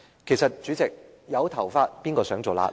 其實，主席，有頭髮誰想做瘌痢？